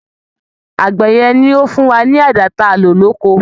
Àgbẹ̀ yẹn ló fún wa ní àdá ta lò ní oko.